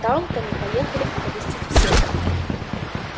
талтоны поехали оповестить всех